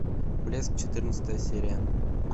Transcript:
блеск четырнадцатая серия